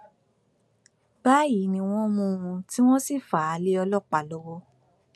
báyìí ni wọn mú un tí wọn sì fà á lé ọlọpàá lọwọ